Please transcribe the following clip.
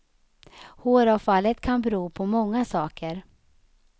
Håravfallet kan bero på många saker.